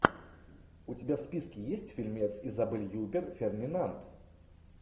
у тебя в списке есть фильмец изабель юппер фердинанд